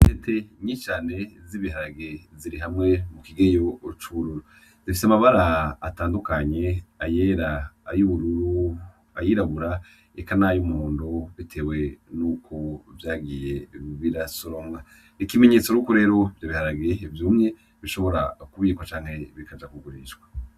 Intete nyinshi z'ibiharage ziri hamwe mu kintu c'ubururu zifise amabara atandukanye ; ayera , ay'ubururu , ay'irabura, eka nay'umuhondo bitewe n'ukuntu vyagiye birasoromwa . Ikimenyetso yuko rero ibiharage vyumye bishobora kuribwa canke bikaja kugurishwa.